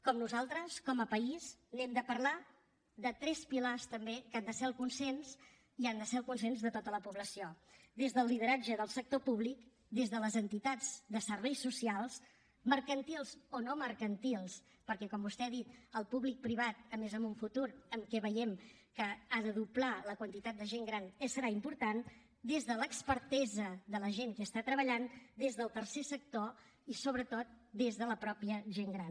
com nosaltres com a país n’hem de parlar de tres pilars també que han de ser el consens i han de ser el consens de tota la població des del lideratge del sector públic des de les entitats de serveis socials mercantils o no mercantils perquè com vostè ha dit el públic privat a més en un futur en què veiem que ha de doblar la quantitat de gent gran serà important des de l’expertesa de la gent que hi està treballant des del tercer sector i sobretot des de la mateixa gent gran